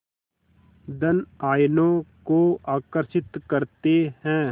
धन आयनों को आकर्षित करते हैं